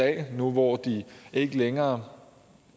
at la nu hvor de ikke længere